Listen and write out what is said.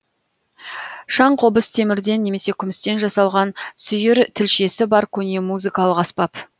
шаңқобыз темірден немесе күмістен жасалған сүйір тілшесі бар көне музыкалық аспап